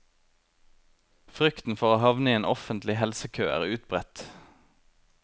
Frykten for å havne i en offentlig helsekø er utbredt.